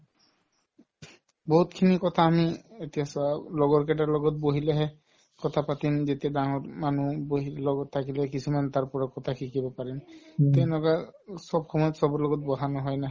বহুতখিনি কথা আমি এতিয়া চোৱা লগৰ কেইটাৰ লগত বহিলেহে কথা পাতিম যেতিয়া ডাঙৰ মানুহ বহি লগত থাকিলে কিছুমান তাৰ পৰা কথা শিকিব পাৰিম তেনেকুৱা চব সময়ত চবৰ লগত বহা নহয় না